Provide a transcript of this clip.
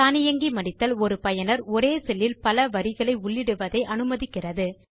தானியங்கி மடித்தல் ஒரு பயனர் ஒரே செல்லில் பல வரிகளை உள்ளிடுவதை அனுமதிக்கிறது